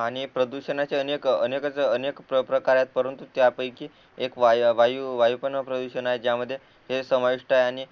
आणि प्रदूषणाचे अनेक अनेकच अनेक प्रकार आहेत परंतु त्यापैकी एक वायू वायू पण प्रदूषण आहे ज्यामध्ये हे समाविष्ट आहे आणि